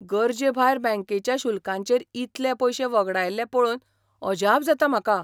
गरजेभायर बँकेच्या शुल्कांचेर इतले पयशे वगडायल्ले पळोवन अजाप जाता म्हाका.